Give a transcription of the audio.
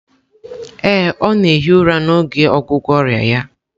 Ee, ọ na-ehi ụra n'oge ọgwụgwọ ọrịa ya